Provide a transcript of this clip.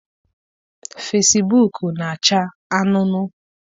Fesibuuku na-acha anuunuu.